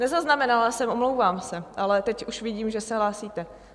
Nezaznamenala jsem, omlouvám se, ale teď už vidím, že se hlásíte.